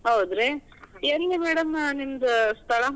ಹೌದ್ರಿ. ಎಲ್ಲಿ madam ಆ ನಿಮ್ದು ಸ್ಥಳಾ?